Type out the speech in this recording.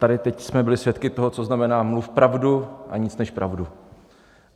Tady teď jsme byli svědky toho, co znamená - mluv pravdu a nic než pravdu.